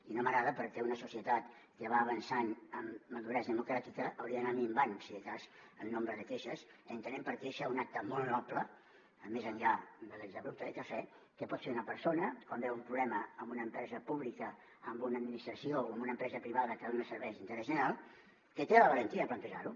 i no m’agrada perquè una societat que va avançant en maduresa democràtica hauria d’anar minvant si de cas en nombre de queixes entenent per queixa un acte molt noble més enllà de l’exabrupte de cafè que pot fer una persona quan veu un problema en una empresa pública en una administració o en una empresa privada que dona serveis d’interès general que té la valentia de plantejar ho